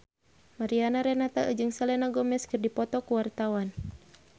Mariana Renata jeung Selena Gomez keur dipoto ku wartawan